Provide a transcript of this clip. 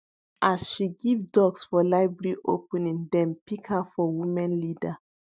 as she give ducks for library opening dem pick her for women leader